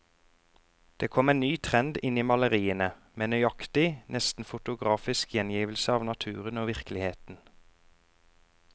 Det kom en ny trend inn i maleriene, med nøyaktig, nesten fotografisk gjengivelse av naturen og virkeligheten.